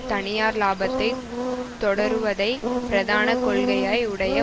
தனியார் இலாபத்தை தொடருவதை பிரதான கொள்கையாய் உடைய